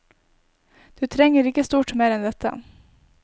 Du trenger ikke stort mer enn dette.